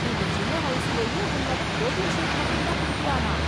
இந்த சின்ன வயசிலயே உன் மகன் ப்ரோட்டின் ஷேக் மட்டும்தான் குடிக்கறானா...